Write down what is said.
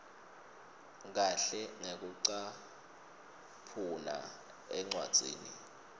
kahle ngekucaphuna encwadzini